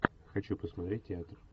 хочу посмотреть театр